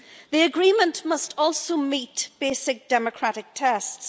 The agreement must also meet basic democratic tests.